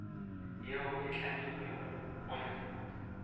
yeo e hlomilwego go ya